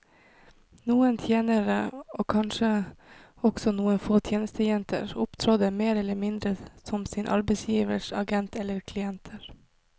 Noen tjenere, og kanskje også noen få tjenestejenter, opptrådte mer eller mindre som sine arbeidsgiveres agenter eller klienter.